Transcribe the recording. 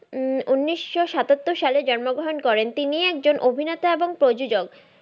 উম উনিশশো সাতাত্তর সালে জন্ম গ্রহন করেন তিনি একজন অভিনেতা এবং প্রযোজক